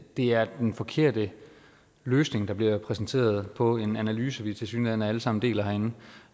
det er den forkerte løsning der bliver præsenteret på en analyse vi tilsyneladende alle sammen deler herinde